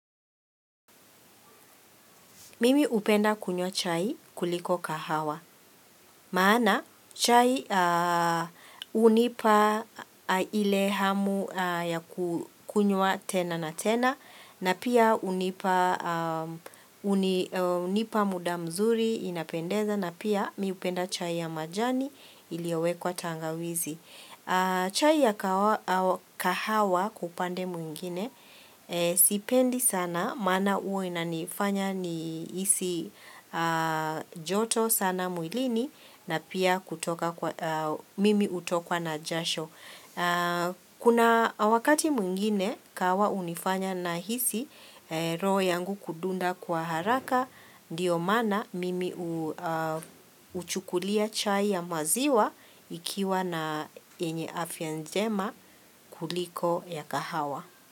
Mimi hupenda kunywa chai kuliko kahawa. Maana chai hunipa ile hamu ya kunywa tena na tena na pia hunipa muda mzuri inapendeza na pia mimi hupenda chai ya majani iliyowekwa tangawizi. Chai ya kahawa kwa upande mwingine sipendi sana maana huwa inanifanya ni hisi joto sana mwilini na pia kutoka kwa mimi hutokwa na jasho. Kuna wakati mwingine kahawa hunifanya nahisi roho yangu kudunda kwa haraka Ndiyo maana mimi huchukulia chai ya maziwa ikiwa na yenye afya njema kuliko ya kahawa.